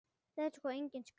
Þetta er sko engin skræpa.